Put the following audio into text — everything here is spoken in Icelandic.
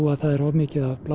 að það var of mikið af